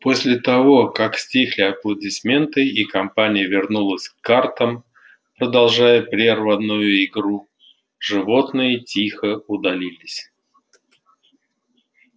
после того как стихли аплодисменты и компания вернулась к картам продолжая прерванную игру животные тихо удалились